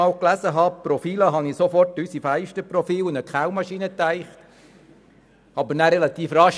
als ich das Wort zum ersten Mal las, dachte ich an anderes.